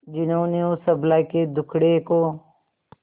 जिन्होंने उस अबला के दुखड़े को